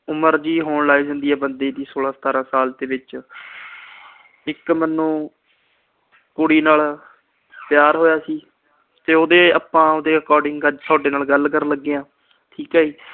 ਉਮਰ ਜੀ ਹੋਣ ਲੱਗ ਜਾਂਦੀ ਏ ਬੰਦੇ ਦੀ, ਸੌਲਾਂ-ਸਤਾਰਾਂ ਸਾਲ ਦੇ ਵਿੱਚ। ਇੱਕ ਮੈਨੂੰ ਕੁੜੀ ਨਾਲ ਪਿਆਰ ਹੋਇਆ ਸੀ ਤੇ ਉਹਦੇ ਆਪਾ according ਅੱਜ ਤੁਹਾਡੇ ਨਾਲ ਗੱਲ ਕਰਨ ਲੱਗੇ ਆ, ਠੀਕ ਆ ਜੀ।